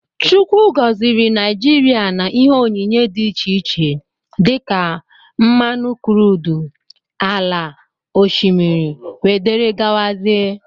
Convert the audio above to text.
Chukwu goziri Naijiria na ihe onyinyé dị iche iche dika: Mmanụ crudú, ala, oshimiri wdg.